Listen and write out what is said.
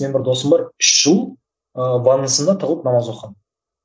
менің бір досым бар үш жыл ыыы ваннасында тығылып намаз оқыған